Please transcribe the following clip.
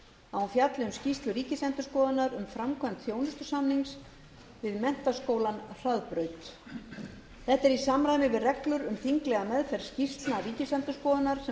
að hún fjalli um skýrslu ríkisendurskoðunar um framkvæmd þjónustusamnings við menntaskólann hraðbraut þetta er í samræmi við reglur um þinglega meðferð skýrsla ríkisendurskoðunar sem